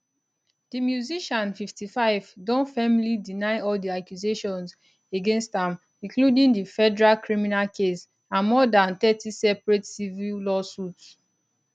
di musician 55 don firmly deny all di accusations against am including di federal criminal case and more dan thirty separate civil lawsuits